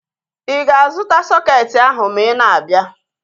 Ịga-azụta sọketi ahu ma ị na-abịa?